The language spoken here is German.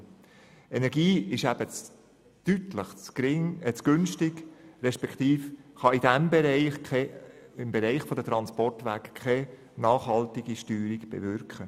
Die Energie ist eben deutlich zu günstig respektive sie kann im Bereich der Transportwege keine nachhaltige Steuerung bewirken.